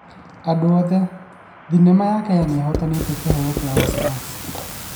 Andũ othe: Thenema ya Kenya nĩihotanĩte kĩheo gĩa Oscars